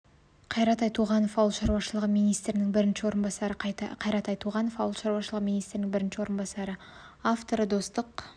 қайрат айтуғанов ауыл шаруашылығы министрінің бірінші орынбасары қайрат айтуғанов ауыл шаруашылығы министрінің бірінші орынбасары авторы достық